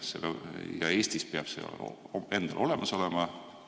Ja Eestis peab see endal olemas olema.